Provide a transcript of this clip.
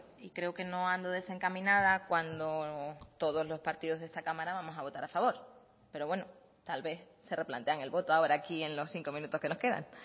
y creo que no ando desencaminada cuando todos los partidos de esta cámara vamos a votar a favor pero bueno tal vez se replantean el voto ahora aquí en los cinco minutos que nos quedan